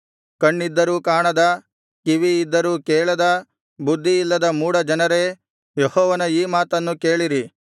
ಕಣ್ಣಿದ್ದರೂ ಕಾಣದ ಕಿವಿ ಇದ್ದರೂ ಕೇಳದ ಬುದ್ಧಿಯಿಲ್ಲದ ಮೂಢ ಜನರೇ ಯೆಹೋವನ ಈ ಮಾತನ್ನು ಕೇಳಿರಿ